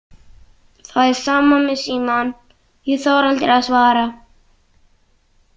Það er sama með símann, ég þori aldrei að svara.